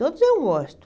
Todos eu gosto.